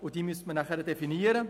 Diese müsste man dann definieren.